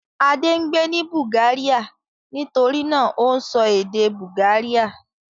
Adé ń gbé ní Bulgaria nitori náà ó ń sọ èdè Bulgaria.